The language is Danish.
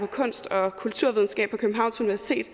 kunst og kulturvidenskab på københavns universitet